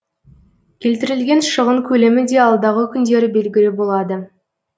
келтірілген шығын көлемі де алдағы күндері белгілі болады